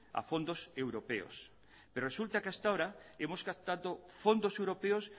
a fondos europeos pero resulta que hasta ahora hemos captado fondos europeos